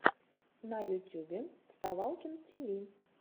на ютюбе вставалкин тиви